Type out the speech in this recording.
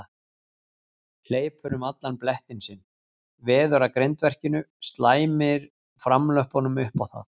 Hleypur um allan blettinn sinn, veður að grindverkinu, slæmir framlöppunum upp á það.